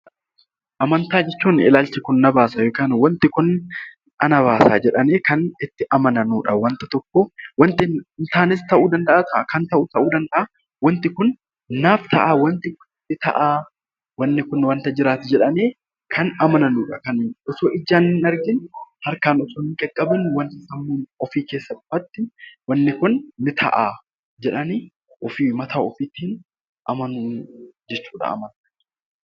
Amantaa jechuun ilaalchi kun na baasa yookaan wanti kun ana baasa jedhanii kan itti amanamu dha. Wanta tokko wanti hin taanes ta'uu danda'aa, kan ta'us ta'uu danda'aa wanti kun naaf ta'aa, wanni kun wanta jiraatu jedhamee kan amananu dha. Osoo ijaan hin argin, harkaan osoo hin qaqqabin ofiikee salphaatti wanni kun ni ta'aa jedhanii ofii mataa ofiitiin amanuu jechuu dha.